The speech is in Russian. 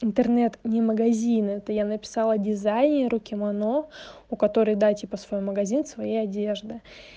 интернет не магазин это я написала дизайнер у кимоно у которой да типа свой магазин своей одежды